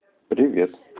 привет